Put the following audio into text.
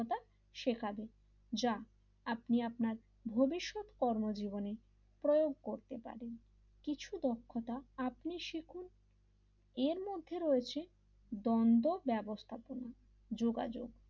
শেখায় যা আপনি আপনার ভবিষ্যৎ কর্মজীবনে প্রয়োগ করতে পারেন কিছু দক্ষতা আপনি শিখুন এরমধ্যে রয়েছে বঙ্গ ব্যবস্থাপনা যোগাযোগ,